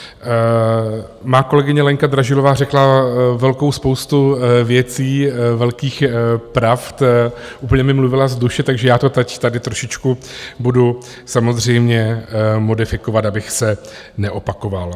Má kolegyně Lenka Dražilová řekla velkou spoustu věcí, velkých pravd, úplně mi mluvila z duše, takže já to teď tady trošičku budu samozřejmě modifikovat, abych se neopakoval.